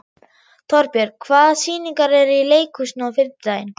Torbjörg, hvaða sýningar eru í leikhúsinu á fimmtudaginn?